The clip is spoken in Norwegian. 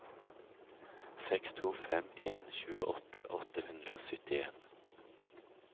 seks to fem en tjueåtte åtte hundre og syttien